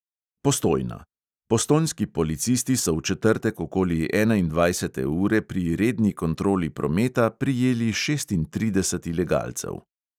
Postojna: postojnski policisti so v četrtek okoli enaindvajsete ure pri redni kontroli prometa prijeli šestintrideset ilegalcev.